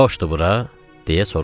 Boşdu bura?